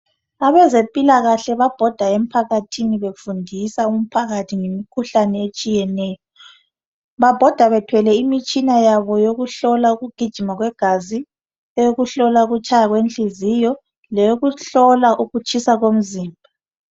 Abezempilakahle babhoda emphakathini befundisa umphakathi ngemikhuhlane etshiyeneyo babhoda bethwele imitshina yabo yokuhlola ukugijima kwegazi eyokuhlola ukutshaya kwenhliziyo leyokuhlola ukutshisa komzimba.